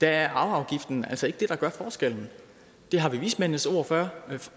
er arveafgiften altså ikke det der gør forskellen det har vi vismændenes ord